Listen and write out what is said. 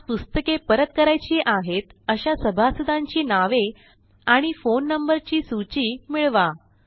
आज पुस्तके परत करायची आहेत अशा सभासदांची नावे आणि फोन नंबरची सूची मिळवा